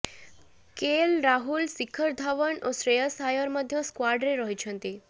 KL Rahul Shikhar Dhawan ଓ ଶ୍ରେୟସ ଆୟର ମଧ୍ୟ ସ୍କ୍ୱାଡରେ ରହିଛନ୍ତି